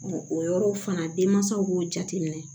o yɔrɔw fana denmansaw b'o jateminɛ